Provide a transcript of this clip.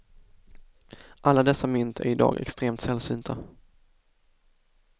Alla dessa mynt är i dag extremt sällsynta.